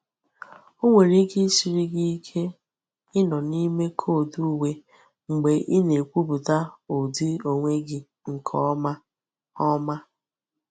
Ọ nwere ike isiri gị ike ịnọ n'ime koodu uwe mgbe ị na ekwupụta ụdị onwe gị nke ọma. ọma.